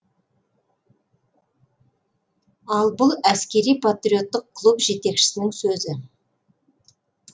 ал бұл әскери патриоттық клуб жетекшісінің сөзі